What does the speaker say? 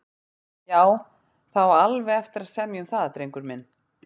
Já, það á alveg eftir að semja um það, drengur minn.